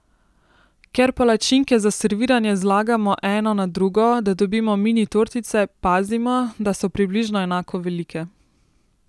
Ker palačinke za serviranje zlagamo eno na drugo, da dobimo mini tortice, pazimo, da so približno enako velike.